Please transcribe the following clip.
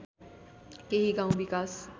केही गाउँ विकास